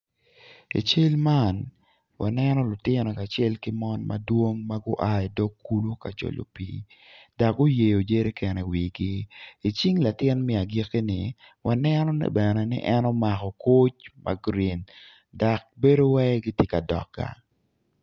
I cal man waneno lutino kacel ki mon madwong ma gua idog kulu ka jolo pii dok guyeyo jereken iwigi icing latin me agikini waneno ni bene ni en omako koc ma gurin dok bedo waci gitye ka dok gang